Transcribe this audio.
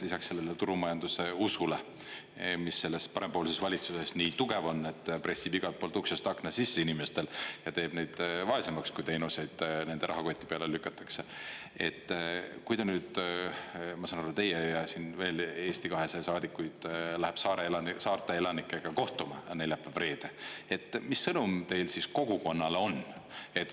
Lisaks sellele turumajanduse usule, mis selles parempoolses valitsuses nii tugev on, pressib igalt poolt uksest-aknast sisse inimestel ja teeb meid vaesemaks, kui teenuseid nende rahakoti peale lükatakse, et kui te nüüd, ma saan aru, et teie ja veel Eesti 200 saadikuid läheb saarte elanikega kohtuma neljapäev- reede – mis sõnum teil siis kogukonnale on?